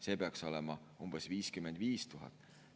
See peaks olema umbes 55 000.